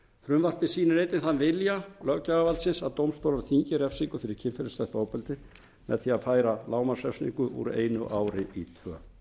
frumvarpið sýnir einnig þann vilja löggjafarvaldsins að dómstólar þyngi refsingu fyrir kynferðislegt ofbeldi með því að færa lágmarksrefsingu úr einu ári í tvö